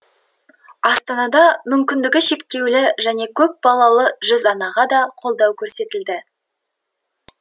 астанада мүмкіндігі шектеулі және көпбалалы жүз анаға да қолдау көрсетілді